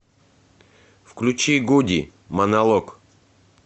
включи гуди монолог